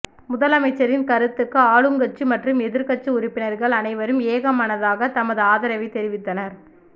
முதலமைச்சரின் கருத்துக்கு ஆளுங்கட்சி மற்றும் எதிர்க்கட்சி உறுப்பினர்கள் அனைவரும் ஏகமனதாக தமது ஆதரவை தெரிவித்தனர்